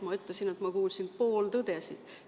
Ma ütlesin, et ma kuulsin pooltõdesid.